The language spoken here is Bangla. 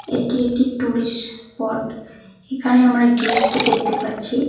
এটি একটি টুরিস্ট স্পট এখানে আমরা গেট দেখতে পাচ্ছি।